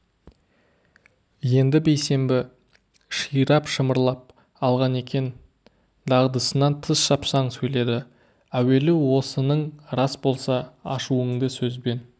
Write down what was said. енді бейсенбі ширап шымырлап алған екен дағдысынан тыс шапшаң сөйледі әуелі осының рас болса ашуыңды сөзбен